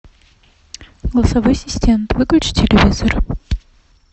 голосовой ассистент выключи телевизор